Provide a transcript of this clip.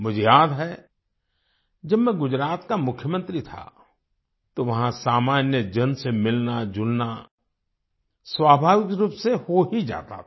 मुझे याद है जब मैं गुजरात का मुख्यमंत्री था तो वहां सामान्य जन से मिलनाजुलना स्वाभाविक रूप से हो ही जाता था